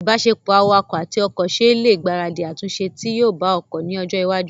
ìbáṣepọ̀ awakọ̀ àti ọkọ̀ ṣe ẹ lè gbaradì àtúnṣe tí yóò bá ọkọ̀ ní ọjọ́ iwájú